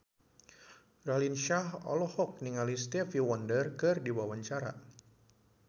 Raline Shah olohok ningali Stevie Wonder keur diwawancara